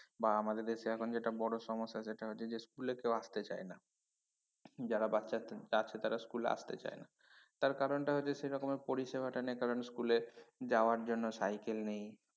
বা আমাদের দেশেে এখন যেটা বড় সমস্যা সেটা হচ্ছে যে school এ কেউ আসতে চায় না যারা বাচ্চা তারা স্কুলে আসতে চায় না তার কারনটা হচ্ছে সে রকমের পরিসেবাটা নেই কারন school এ যাবার জন্য School নেই